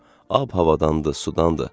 Ab-havadandır, sudandır.